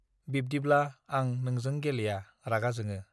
बिब्दिब्ला आं नोंजों गेलेया रागा जोङो